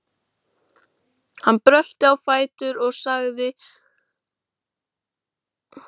Hann brölti á fætur og sagði og talaði til sýslumanns